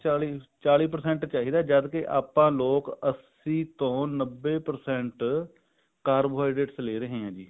ਚਾਲੀ ਚਾਲੀ percent ਚਾਹੀਦਾ ਜਦ ਕੇ ਆਪਾਂ ਲੋਕ ਅੱਸੀ ਤੋਂ ਨੱਬੇ percent carbohydrate ਲੈ ਰਹੇ ਹਾਂ